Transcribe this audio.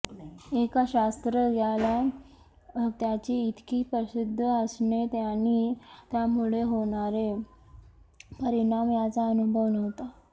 एका शास्त्रज्ञाला त्याची इतकी प्रसिद्धी असणे आणि त्यामुळे होणारे परिणाम याचा अनुभव नव्हता